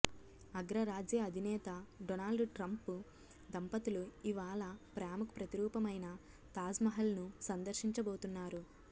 అగ్రరాజ్య అధినేత Donald Trump దంపతులు ఇవాళ ప్రేమకు ప్రతీరూపమైన తాజ్మహల్ను సందర్శించబోతున్నారు